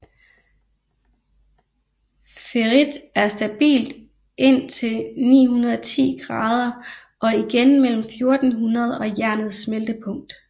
Ferrit er stabilt indtil 910 grader og igen mellem 1400 og jernets smeltepunkt